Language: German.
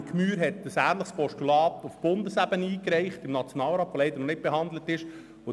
Nationalrätin Andrea Gmür hat ein ähnliches Postulat im Nationalrat eingereicht, welches leider noch nicht behandelt wurde.